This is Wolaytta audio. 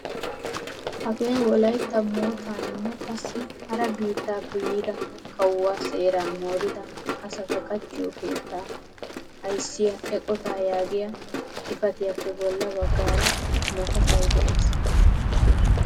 Hagee wolaytta moottaninne qassi hara biittaappe yiida kawuwaa seeraa moorida asata qachchiyoo keettaa ayssiyaa eqotaa yaagiyaa xifatiyappe bolla baggaara maatafay de'ees.